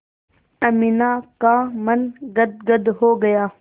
अमीना का मन गदगद हो गया